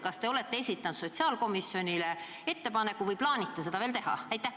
Kas te olete esitanud sotsiaalkomisjonile sellise ettepaneku või plaanite seda veel teha?